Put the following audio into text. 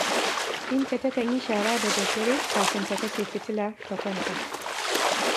Binta takan yi shara da daddare, kafin ta kashe fitila, ta kwanta